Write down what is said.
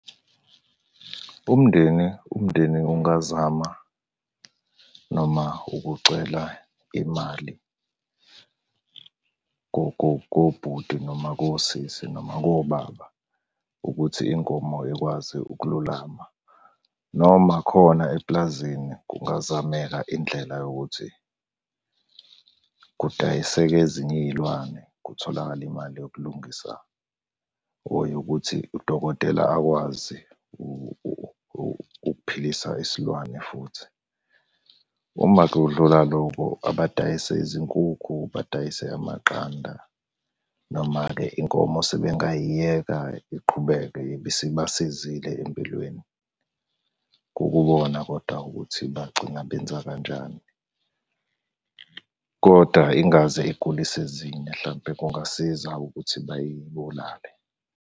Umndeni, umndeni ungazama noma ukucela imali kobhuti noma kosisi noma kobaba, ukuthi inkomo ikwazi ukululama, noma khona epulazini kungazameka indlela yokuthi kudayiseke ezinye iy'lwane kutholakale imali yokulungisa or yokuthi udokotela akwazi ukuphilisa isilwane futhi. Uma kudlula loko, abadayise izinkukhu, badayise amaqanda, noma-ke inkomo sebengayiyeka iqhubeke ibisibasizile empilweni. Kukubona kodwa ukuthi bagcina benza kanjani, koda ingaze igulise ezinye hlampe kungasiza ukuthi bayibulale.